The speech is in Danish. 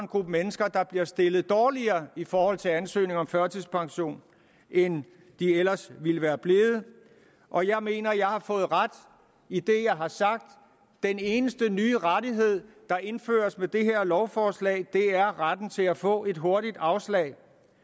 gruppe mennesker der bliver stillet dårligere i forhold til ansøgning om førtidspension end de ellers ville være blevet og jeg mener at jeg har fået ret i det jeg har sagt den eneste nye rettighed der indføres med det her lovforslag er retten til at få et hurtigt afslag